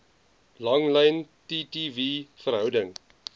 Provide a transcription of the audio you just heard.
langlyn ttv verhouding